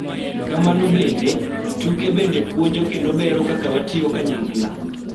Kamano bende, tuke bende puonjo kendo bero kaka watiyo kanyakla .